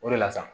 O de la sa